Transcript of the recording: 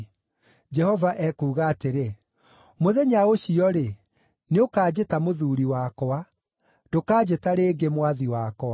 Jehova ekuuga atĩrĩ, “Mũthenya ũcio-rĩ, nĩũkanjĩta ‘Mũthuuri wakwa’; ndũkanjĩta rĩngĩ ‘Mwathi wakwa’.